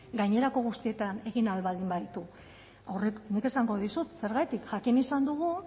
gainerako guztietan egin ahal baldin baditu horrek nik esango dizut zergatik jakin izan dugu